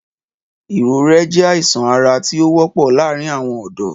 Ìrõré jé àísán árá ti ó wõpõ làárin awõn õdõ